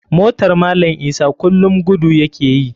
Motar malam isa kulum gudu ya ke yi.